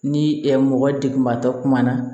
Ni mɔgɔ degunbatɔ kumana